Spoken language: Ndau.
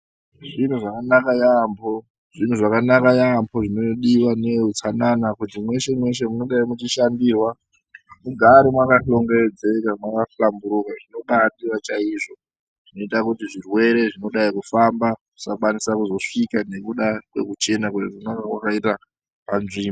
Zviro zvakanaka yaambo, zvinhu zvakanaka yaambo zvinodiva neeutsanana kuti mweshe-mweshe mungadai muchishandirwa mugare makahlongedzeka mwakahlamburuka. Zvinobadiva chaizvo zvinota kuti zvirwere zvinodai kufamba zvisakwanisa kuzosvika nekuda kwekuchena kunenge kwakaita panzvimbo.